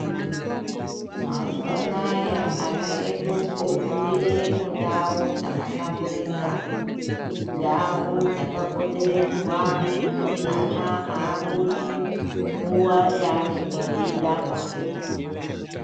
Mazuva anaya, vana vedu, vofundire mundau dzakahlamburika. Ndau dzakapoteredzwa, ana haabudi nguwa yeanenge eidaba.